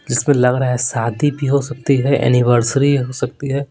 इसमें लग रहा है शादी भी हो सकती है एनिवर्सरी हो सकती है।